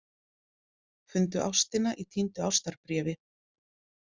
Fundu ástina í týndu ástarbréfi